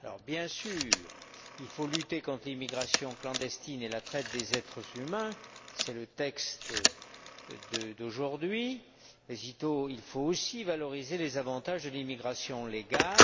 Bien sûr, il faut lutter contre l'immigration clandestine et la traite des êtres humains, c'est le texte d'aujourd'hui, mais il faut aussi valoriser les avantages de l'immigration légale.